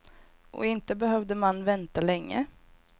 Och inte behövde man vänta länge.